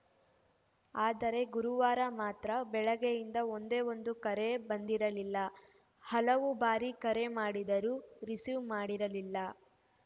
ಆದರೆ ಗುರುವಾರ ಮಾತ್ರ ಬೆಳಗ್ಗೆಯಿಂದ ಒಂದೇ ಒಂದು ಕರೆ ಬಂದಿರಲಿಲ್ಲ ಹಲವು ಬಾರಿ ಕರೆ ಮಾಡಿದರೂ ರಿಸೀವ್‌ ಮಾಡಿರಲಿಲ್ಲ